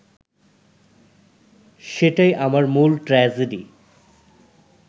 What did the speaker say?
সেটাই আমার মূল ট্র্যাজেডি